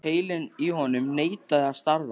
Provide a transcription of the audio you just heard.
Heilinn í honum neitaði að starfa.